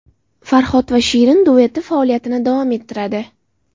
Farhod va Shirin dueti faoliyatini davom ettiradi.